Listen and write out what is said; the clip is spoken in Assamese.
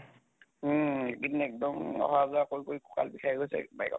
উম এই কেইদিন এক্দম অহ অহা যোৱা কৰি কৰি ককাল বিষাই গৈছে bike ত